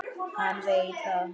Hann veit það.